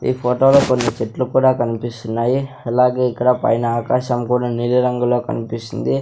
ఈ ఫోటో లో కొన్ని చెట్లు కూడా కనిపిస్తున్నాయి అలాగే ఇక్కడ పైన ఆకాశం కూడా నీలిరంగులో కనిపిస్తుంది.